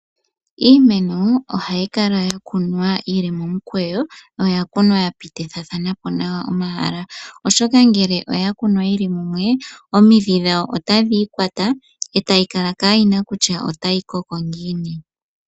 Iimeno ohayi kala ya kunwa yili momukweyo, yo oya kunwa ya pitithathana po nawa omahala, oshoka ngele oya kunwa yili mumwe, omidhi dhawo otadhi ikwata, etayi kala kaayina kutya otayi koko ngiini.